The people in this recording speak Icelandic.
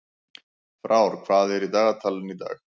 Frár, hvað er í dagatalinu í dag?